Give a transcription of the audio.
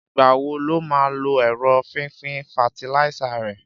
Ìgbáwó ló mà lò èró fifin fàtílíisá rẹ?